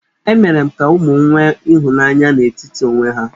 Emere m ka ụmụ m nwe ịhụnanya n'etiti onwe ha.